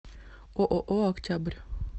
ооо октябрь